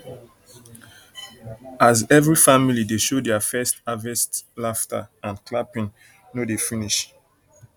as every family dey show their first harvest laughter and clapping no dey finish finish